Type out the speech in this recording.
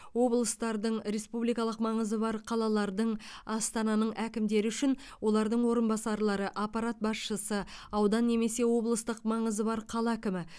облыстардың республикалық маңызы бар қалалардың астананың әкімдері үшін олардың орынбасарлары аппарат басшысы аудан немесе облыстық маңызы бар қала әкімі